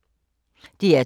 DR2